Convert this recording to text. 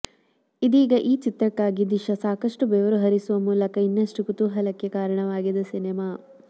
ಇದೀಗ ಈ ಚಿತ್ರಕ್ಕಾಗಿ ದಿಶಾ ಸಾಕಷ್ಟು ಬೆವರು ಹರಿಸುವ ಮೂಲಕ ಇನ್ನಷ್ಟು ಕುತೂಹಲಕ್ಕೆ ಕಾರಣವಾಗಿದೆ ಸಿನಿಮಾ